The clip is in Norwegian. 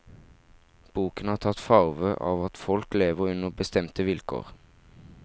Boken har tatt farve av at folk lever under bestemte vilkår.